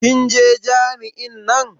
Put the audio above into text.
Kin je jami'in nan?